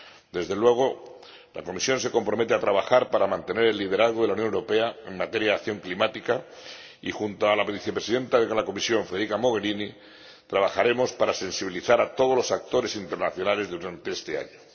Desde luego, la Comisión se compromete a trabajar para mantener el liderazgo de la Unión Europea en materia de acción climática y, junto a la Vicepresidenta de la Comisión, Federica Mogherini, trabajaremos para sensibilizar a todos los actores internacionales durante este año.